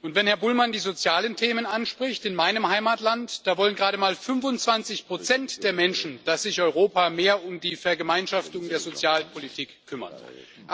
Wenn Herr Bullmann die sozialen Themen anspricht In meinem Heimatland wollen gerade mal 25 der Menschen, dass sich Europa mehr um die Vergemeinschaftung der Sozialpolitik kümmern soll.